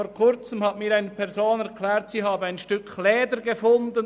Vor Kurzem hat mir eine Person erklärt, sie habe ein Stück Leder gefunden.